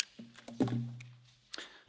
Frau Präsidentin, Herr Kommissar!